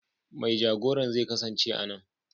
Mai jagoran zai kasance a nan.